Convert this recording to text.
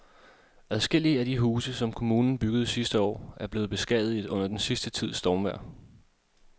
Adskillige af de huse, som kommunen byggede sidste år, er blevet beskadiget under den sidste tids stormvejr.